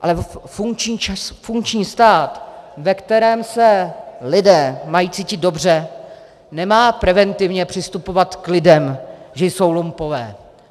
Ale funkční stát, ve kterém se lidé mají cítit dobře, nemá preventivně přistupovat k lidem, že jsou lumpové.